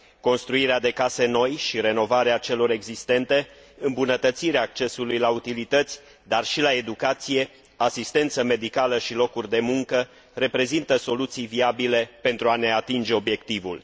Construirea de case noi și renovarea celor existente, îmbunătățirea accesului la utilități, dar și la educație, asistență medicală și locuri de muncă, reprezintă soluții viabile pentru a ne atinge obiectivul.